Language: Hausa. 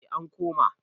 eh an koma